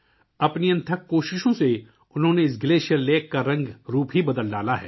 اپنی انتھک کوششوں سے انہوں نے اس گلیشیئر جھیل کی شکل ہی بدل دی ہے